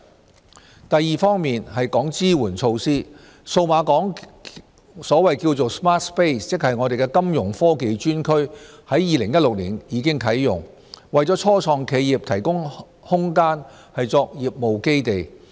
b 支援措施第二方面有關支援措施，數碼港 Smart-Space 金融科技專區已於2016年啟用，為初創企業提供空間作業務基地。